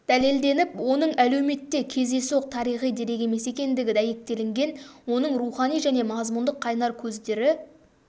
дәлелденіп оның әлеуметте кездейсоқ тарихи дерек емес екендігі дәйектелінген оның рухани және мазмұндық қайнар көздері